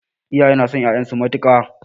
Iyaye na son ƴaƴan su matuƙa